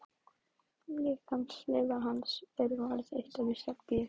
Líkamsleifar hans eru varðveittar í Serbíu.